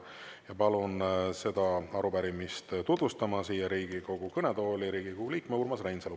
Palun seda arupärimist siia Riigikogu kõnetooli tutvustama Riigikogu liikme Urmas Reinsalu.